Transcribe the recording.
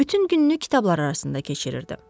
Bütün gününü kitablar arasında keçirirdi.